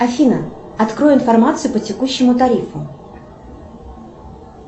афина открой информацию по текущему тарифу